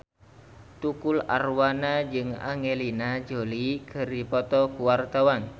Tukul Arwana jeung Angelina Jolie keur dipoto ku wartawan